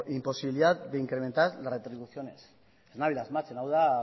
imposibilidad de incrementar las retribuciones ez nabil asmatzen hau da